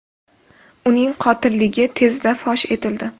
Uning qotilligi tezda fosh etildi.